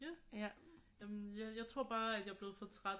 Jamen jeg tror bare jeg er blevet for træt af